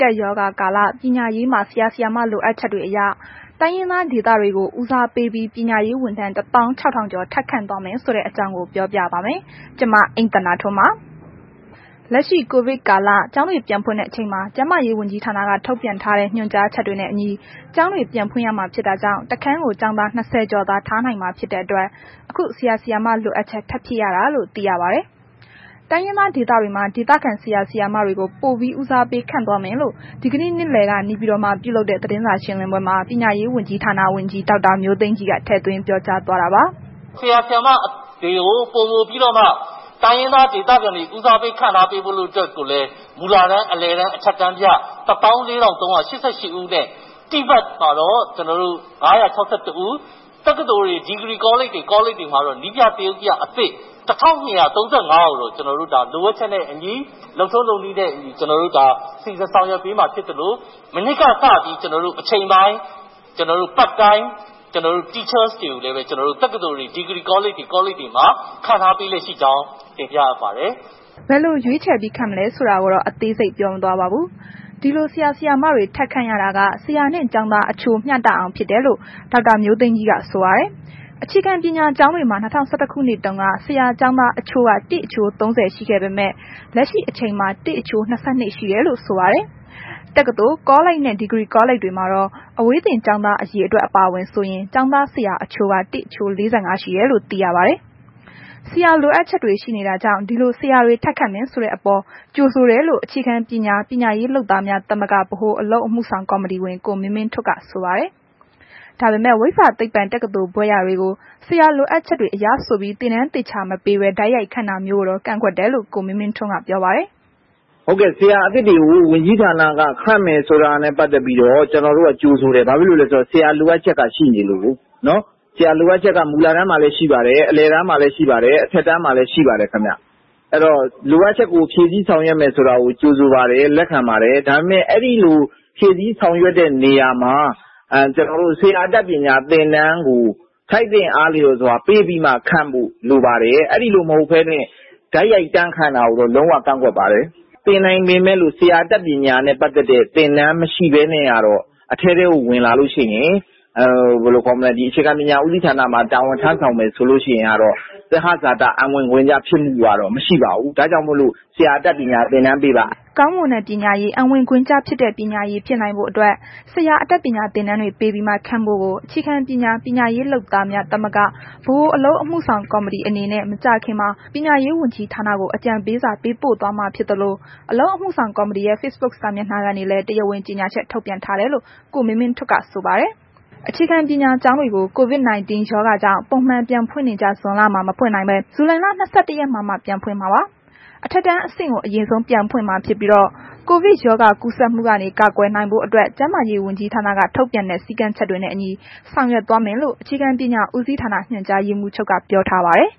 ကပ်ရောဂါကာလ ပညာရေးမှာ ဆရာဆရာမ လိုအပ်ချက်တွေအရ တိုင်းရင်းသားဒေတွေကိုဦးစားပေးပြီး ပညာရေး ဝန်ထမ်း ၁,၆၀၀၀ ကျော် ထပ်ခန့်သွားမယ့်အကြောင်းကို ဗွီအိုအေမြန်မာပိုင်းသတင်းထောက် မအိမ့်သန္တာထွန်းက ပြောပြပါမယ်။ လက်ရှိ ကိုဗစ်ကာလ ကျောင်းတွေ ပြန်ဖွင့်တဲ့အချိန်မှာ ကျန်းမာရေးဝန်ကြီးဌာနက ထုတ်ပြန်ထားတဲ့ ညွှန်ကြားချက်တွေနဲ့အညီ ကျောင်းတွေပြန်ဖွင့်ရမှာ ဖြစ်တာကြောင့် တစ်ခန်းကို ကျောင်းသား ၂၀ ကျော်သာ ထားနိုင်မှာ ဖြစ်တဲ့အတွက် အခု ဆရာ၊ ဆရာမ လိုအပ်ချက် ထပ်ဖြည့်ရတာလို့သိရပါတယ်။ တိုင်းရင်းသားဒေသတွေမှာ ဒေသခံ ဆရာ၊ ဆရာမတွေကို ပိုဦးစားပေးပြီး ခန့်သွားမယ်လို့ ဒီကနေ့နေ့လည်က နေပြည်တော်မှာ ပြုလုပ်တဲ့ သတင်းစာရှင်းလင်းပွဲမှာ ပညာရေးဝန်ကြီးဌာန ဝန်ကြီး ဒေါက်တာမျိုးသိမ်းကြီးက ထည့်သွင်းပြောကြားသွားတာပါ။ “ဆရာဆရာမတွေကို ပိုမိုပြီးတော့မှ တိုင်းရင်းသားဒေသခံတွေကို ပိုဦးစားပေး ခန့်ဖို့အတွက်ကိုလည်း မူလတန်း၊ အလယ်တန်း၊ အထက်တန်းပြ ၁၄,၃၈၈ ဦးနဲ့ တိဘက်မှာတော့ ကျွန်တော်တို့ ၅၆၁ ဦး၊ တက္ကသိုလ်တွေ၊ ကောလိပ်တွေ၊ ဒီဂရီကောလိပ်တွေမှာတော့ နည်းပြ သရုပ်ပြအသစ် ၁,၂၃၅ ဦးကို ကျနော်တို့ လိုအပ်ချက်နဲ့အညီ လုပ်ထုံးလုပ်နည်းနဲ့အညီ ကျနော်တို့ ဒါ စီစဉ်ဆောင်ရွက်ပေးမှာ ဖြစ်သလို မနှစ်ကစပြီး ကျနော်တို့ အချိန်ပိုင်း Part Time Teachers တွေကိုလည်း ကျနော်တို့ တက္ကသိုလ်တွေ၊ ဒီဂရီကောလိပ်တွေ ကောလိပ်တွေမှာ ခန့်ထားပြီးလျက်ရှိကြောင်း တင်ပြအပ်ပါတယ်။” ဘယ်လို ရွေးချယ်ပြီး ခန့်မလဲဆိုတာကိုတော့ အသေးစိတ်ပြောမသွားပါဘူး။ ဒီလို ဆရာဆရာမတွေ ထပ်ခန့်ရတာက ဆရာနှင့် ကျောင်းသားအချိုး မျှတအောင်ဖြစ်တယ်လို့ ဒေါက်တာမျိုးသိမ်းကြီးက ဆိုပါတယ်။ အခြေခံပညာကျောင်းတွေမှာ ၂၀၁၁ ခုနှစ်တုန်းက ဆရာကျောင်းသား အချိုးက ၁ အချိုး ၃၀ ရှိခဲ့ပေမယ့် လက်ရှိအချိန်မှာ ၁ အချိုး ၂၂ ရှိတယ်လို့ ဆိုပါတယ်။ တက္ကသိုလ်၊ ကောလိပ်နဲ့ ဒီကရီကောလိပ်တွေမှာတော့ အဝေးသင်ကျောင်းသားအရေအတွက် အပါအဝင်ဆိုရင် ကျောင်းသား ဆရာ အချိုးက ၁ အချိုး ၄၅ ရှိတယ်လို့သိရပါတယ်။ ဆရာလိုအပ်ချက်တွေ ရှိနေတာကြောင့် ဒီလို ဆရာတွေ ထပ်ခန့်မယ်ဆိုတဲ့အပေါ် ကြိုဆိုတယ်လို့ အခြေခံပညာ ပညာရေးလုပ်သားများသမဂ္ဂ ဗဟိုအလုပ်အမှုဆောင် ကော်မတီဝင် ကိုမင်းမင်းထွဋ်က ဆိုပါတယ်။ ဒါပေမဲ့ ဝိဇ္ဇာသိပ္ပံတက္ကသိုလ်ဘွဲ့ရတွေကို ဆရာလိုအပ်ချက်အရဆိုပြီး သင်တန်းသေချာမပေးဘဲ တိုက်ရိုက်ခန့်တာမျိုးကိုတော့ ကန့်ကွက်တယ်လို့ ကိုမင်းမင်းထွဋ်က ပြောပါတယ်။ “ဆရာအသစ်တွေကိ ဝန်ကြီးဌာနက ခန့်မယ်ဆိုတာနဲ့ပတ်သက်ပြီးတော့ ကျနော်တို့က ကြိုဆိုတယ်၊ ဘာဖြစ်လို့လဲဆိုတော့ ဘာဖြစ်လို့လဲဆိုတော့ ဆရာလိုအပ်ချက်က ရှိနေလို့ကို ဆရာလိုအပ်ချက် မူလတန်းမှာလည်း ရှိပါတယ်၊ အလယ်တန်းမှာလည်း ရှိပါတယ်၊ အထက်တန်းမှာလည်း ရှိပါတယ် ခင်ဗျ၊ လိုအပ်ချက်ကို ဖြည့်စည်းဆောင်ရွက်မယ်ဆိုတာကို ထောက်ခံပါတယ်၊ ကြိုဆိုပါတယ်။ ဒါပေမဲ့ ဖြည့်စည်းဆောင်ရွက်တဲ့နေရာမှာ ဆရာအတတ်ပညာသင်တန်းကို ထိုက်သင့်အားလျော်စွာ ပေးပြီးတော့မှ ခန့်ဖို့လိုပါတယ်၊ အဲ့ဒီလို မဟုတ်ဘဲနဲ့ တိုက်ရိုက်တန်းခန့်တာကိုတော့ လုံးဝ ကန့်ကွက်ပါတယ်။ သင်နိုင်ပေမယ့်လို့ ဆရာအတတ်ပညာနဲ့ ပတ်သက်တဲ့ သင်တန်းမရှိဘဲနဲ့ကတော့ အထဲထဲကို ဝင်လာလို့ရှိရင် အခြေခံပညာဦးစီးဌာနမှာ တာဝန်ထမ်းဆောင်မယ်ဆိုလို့ကတော့ သဟဇာတ အံဝင်ခွင့်ကျ ဖြစ်မှုကတော့ မရှိပါဘူး။ ဒါကြောင့်မို့လို့ ဆရာအတတ်ပညာသင်တန်းပေးပါ။” ကောင်းမွန်တဲ့ပညာရေး အံဝင်ဂွင်ကျ ဖြစ်တဲ့ ပညာရေးဖြစ်နိုင်ဖို့အတွက် ဆရာအတတ်ပညာသင်တန်း တွေပေးပြီးမှ ခန့်ဖို့ကို အခြေခံပညာ ပညာရေးလုပ်သား သမဂ္ဂများ ဗဟိုအလုပ်ဆောင်ကော်မတီ အနေနဲ့ မကြာခင်မှာ ပညာရေးဝန်ကြီးဌာနကို အကြံပေးစာပေးပို့သွားမှာဖြစ်သလို အလုပ်အမှုဆောင် ကော်မတီရဲ့ Facebook စာမျက်နှာကနေလည်း တရားဝင်ကြေညာချက်ထုတ်ပြန် ထားတယ်လို့ကိုမင်မင်းထွဋ်က ဆိုပါတယ်။ အခြေခံပညာကျောင်းတွေကို COVID - 19 ရောဂါကြောင့် ပုံမှန်ပြန်ဖွင့်နေကျ ဇွန်လ မှာ မဖွင့်နိုင်ဘဲ ဇူလိုင်လ ၂၁ ရက်မှာမှ ပြန်ဖွင့်မှာပါ။ အထက်တန်းအဆင့်ကို အရင်ဆုံးပြန်ဖွင့်မှာဖြစ်ပြီးတော့ ကိုဗစ်ရောဂါကူးစက်မှုကနေ ကာကွယ်နိုင်ဖို့အတွက် ကျန်းမာရေးဝန်ကြီးဌာနက ထုတ်ပြန်တဲ့ စည်ကမ်းချက်တွေနဲ့အညီ ဆောင်ရွက်သွားမယ်လို့ အခြေခံပညာဦးစီးဌာန ညွှန်ကြားရေးမှူးချုပ်က ပြောထားပါတယ်